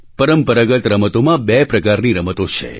પરંપરાગત રમતોમાં બે પ્રકારની રમતો છે